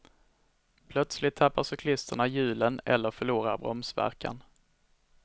Plötsligt tappar cyklisterna hjulen eller förlorar bromsverkan.